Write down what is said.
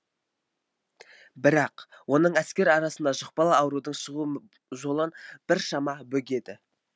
бірақ оның әскер арасында жұқпалы аурудың шығуы жолын біршама бөгеді